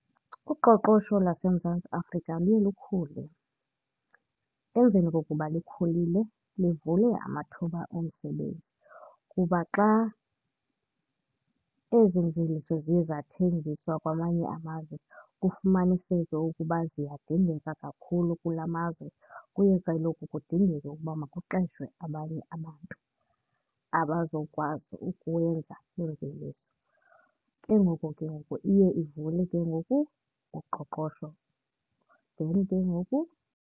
Uqoqosho lwaseMzantsi Afrika luye lukhule. Emveni kokuba likhulile livule amathuba omsebenzi kuba xa ezi mveliso ziye zathengiswa kwamanye amazwe kufumaniseke ukuba ziyadingeka kakhulu kula mazwe, kuye kaloku kudingeke ukuba makuqeshwe abanye abantu abazokwazi ukwenza iimveliso. Ke ngoku ke ngoku iye ivule ke ngoku uqoqosho then ke ngoku.